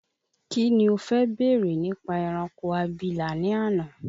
Kíni o fẹ́ bèrè nípa ẹranko abìlà ní àná?